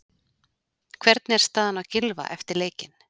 Hvernig er staðan á Gylfa eftir leikinn?